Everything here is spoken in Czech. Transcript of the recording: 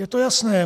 Je to jasné.